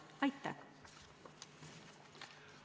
Aitäh!